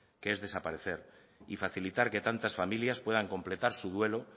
que es desaparecer y facilitar que tantas familias puedan completar su duelo